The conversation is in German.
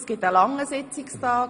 Es wird ein langer Sitzungstag.